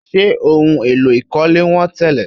Ṣé ohun èlò ìkọ́lé wọ́n tẹ́lẹ̀?